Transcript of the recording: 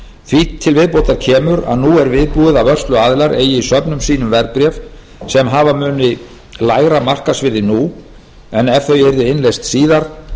því til viðbótar kemur að nú er viðbúið að vörsluaðilar eigi í söfnum sínum verðbréf sem hafa mun lægra markaðsvirði nú en ef þau yrðu innleyst síðar